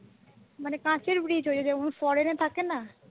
মানে কাঁচের bridge ওই যেমন ফরেনে থাকে না